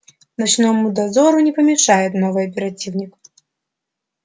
ночному дозору не помешает новый оперативник